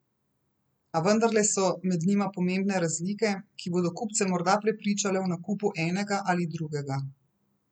A vendarle so med njima pomembne razlike, ki bodo kupce morda prepričale o nakupu enega ali drugega.